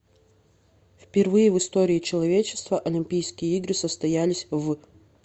впервые в истории человечества олимпийские игры состоялись в